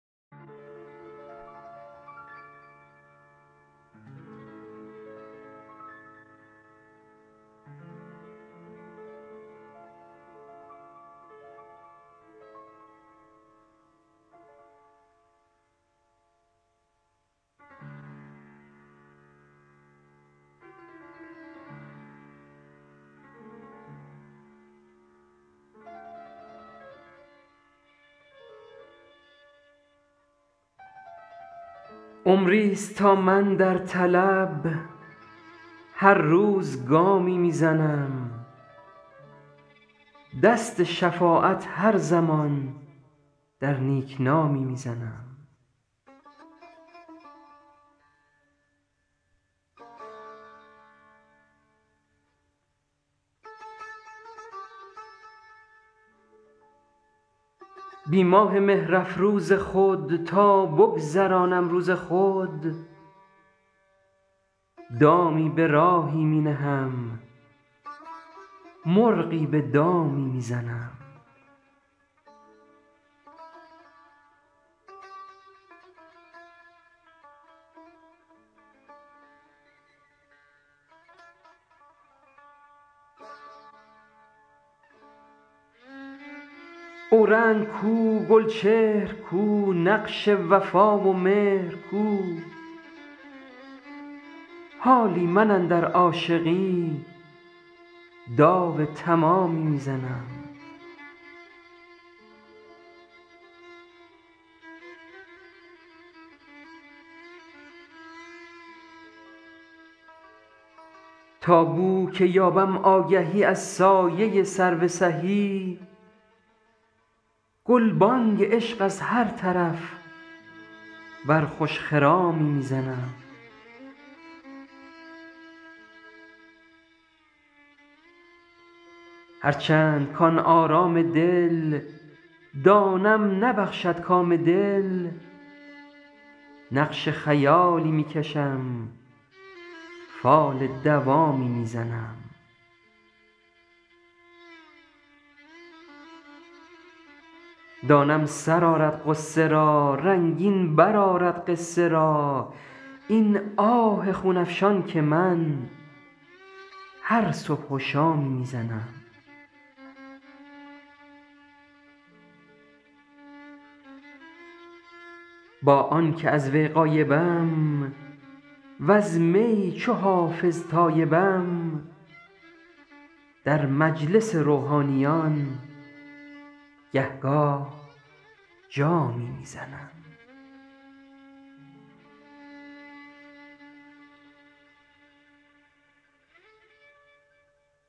عمریست تا من در طلب هر روز گامی می زنم دست شفاعت هر زمان در نیک نامی می زنم بی ماه مهرافروز خود تا بگذرانم روز خود دامی به راهی می نهم مرغی به دامی می زنم اورنگ کو گلچهر کو نقش وفا و مهر کو حالی من اندر عاشقی داو تمامی می زنم تا بو که یابم آگهی از سایه سرو سهی گلبانگ عشق از هر طرف بر خوش خرامی می زنم هرچند کـ آن آرام دل دانم نبخشد کام دل نقش خیالی می کشم فال دوامی می زنم دانم سر آرد غصه را رنگین برآرد قصه را این آه خون افشان که من هر صبح و شامی می زنم با آن که از وی غایبم وز می چو حافظ تایبم در مجلس روحانیان گه گاه جامی می زنم